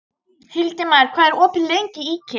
Hildimar, hvað er opið lengi í IKEA?